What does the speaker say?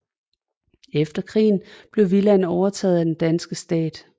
Efter krigen blev villaen overtaget af den danske stat